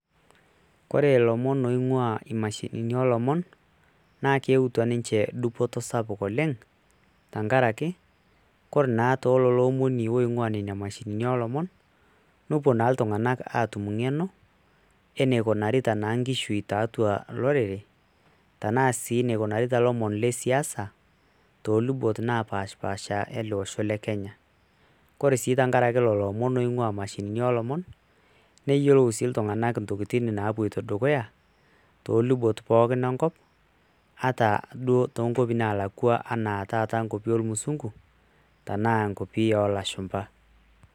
Ore ilomon oing'waa imashinini oolomon